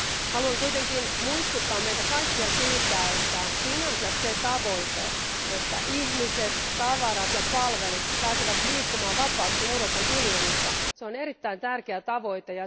Haluan kuitenkin muistuttaa meitä kaikkia siitä, että sinänsä se tavoite, että ihmiset, tavarat ja palvelut pääsevät liikkumaan vapaasti Euroopan unionissa, on erittäin tärkeä tavoite.